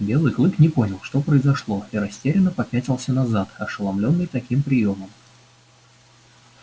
белый клык не понял что произошло и растерянно попятился назад ошеломлённый таким приёмом